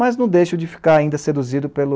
Mas não deixo de ficar ainda seduzido pelo...